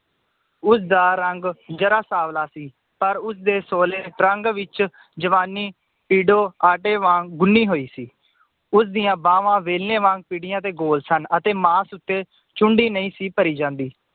ਉਸਦਾ ਰੰਗ ਜਰਾ ਸਾਂਵਲਾ ਸੀ ਪਰ ਉਸਦੇ ਸੋਲੇ ਰੰਗ ਵਿਚ ਜਵਾਨੀ ਆਟੇ ਵਾਂਗ ਗੁੰਨੀ ਹੋਈ ਸੀ ਉਸ ਦੀਆਂ ਬਾਵਾਂ ਬੇਲਣੇ ਵਾਂਗ ਭਿਦੀਆਂ ਤੇ ਗੋਲ ਸਨ ਅਤੇ ਮਾਸ ਉੱਤੇ ਚੁੰਡੀ ਨਈ ਸੀ ਭਰੀ ਜਾਂਦੀ